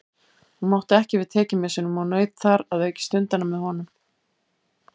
Hún mátti ekki við tekjumissinum og naut þar að auki stundanna með honum.